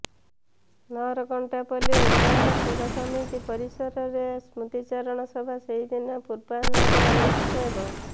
ନହରକଣ୍ଟା ପଲ୍ଲି ଉନ୍ନୟନ ସେବା ସମିତି ପରିସରରେ ସ୍ମୃତିଚାରଣ ସଭା ସେହିଦିନ ପୂର୍ବାହ୍ନରେ ଅନୁଷ୍ଠିତ ହେବ